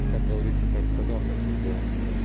как говорится как сказал так и сделал